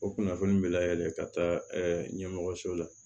O kunnafoni bɛ layɛlɛn ka taa ɲɛmɔgɔso la